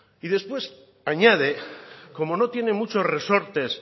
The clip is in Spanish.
después añade como no tiene muchos resortes